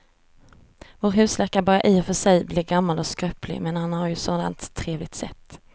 Vår husläkare börjar i och för sig bli gammal och skröplig, men han har ju ett sådant trevligt sätt!